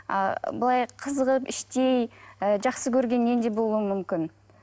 а былай қызығып іштей ы жақсы көргеннен де болуы мүмкін